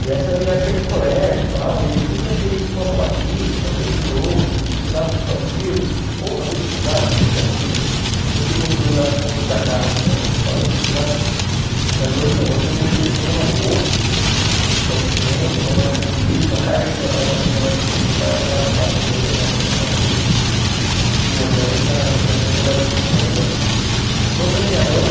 e essa era a minha época de colégio tal e eu sempre achei isso uma babaquice uma coisa de louco não precisava tudo aquilo ou talvez precisasse não tinha muito não tinha o controle das contas da casa né mas talvez precisasse, mas hoje não hoje eu vejo que eles estão numa boa estão se vendo estão mais tranquilos a carga de trabalho está menor também meu pai acordava quatro e meia na época da padaria e agora eles já já estão trabalhando juntos estão melhor. Sobre a minha mãe